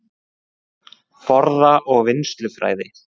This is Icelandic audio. Forða- og vinnslufræði